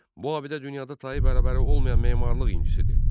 Bu abidə dünyada tayı bərabəri olmayan memarlıq incisidir.